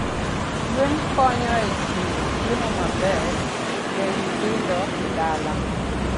Gwen konyo e chiwo chiemo maber ne nyithindo e dala.